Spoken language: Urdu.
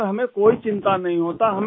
سر ، ہمیں کوئی فکر نہیں ہوتی